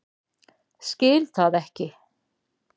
Skil það ekki.